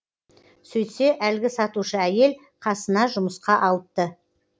сөйтсе әлгі сатушы әйел қасына жұмысқа алыпты